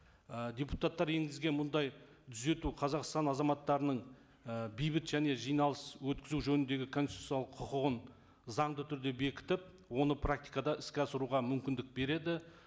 і депутаттар енгізген мұндай түзету қазақстан азаматтарының і бейбіт және жиналыс өткізу жөніндегі конституциялық құқығын заңды түрде бекітіп оны практикада іске асыруға мүмкіндік береді